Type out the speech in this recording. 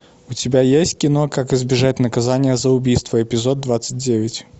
у тебя есть кино как избежать наказания за убийство эпизод двадцать девять